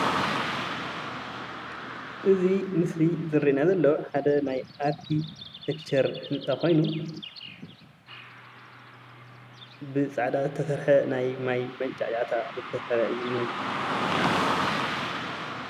እዚ ምስሊ እዚ ዝረአየና ዘሎ ሓደ ናይ ኣርክቲክቸር ህንፃ ኮይኑ ብፃዕዳ ዝትሰርሓ ናይ ማይ መንጫዕጫዕታ ዝተሰበረ እዩ እንአ፡፡